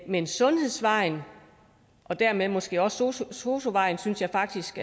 men sundhedsvejen og dermed måske også sosu sosu vejen synes jeg faktisk